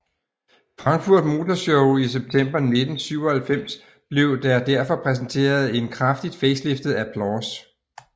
Frankfurt Motor Show i september 1997 blev der derfor præsenteret en kraftigt faceliftet Applause